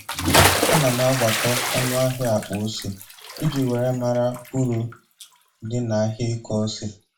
Ana m agbakọ ọnụ ahia akpa ose iji were mara uru dị na ahịa ịkọ ose